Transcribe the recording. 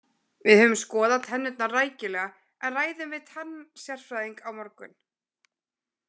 Við höfum skoðað tennurnar rækilega en ræðum við tannasérfræðing á morgun.